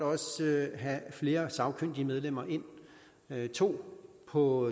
have flere sagkyndige medlemmer ind to på